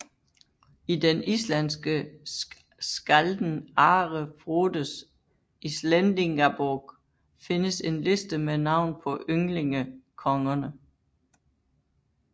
I den islandske skkalden Are Frodes Íslendingabók findes en liste med navn på ynglingekongerne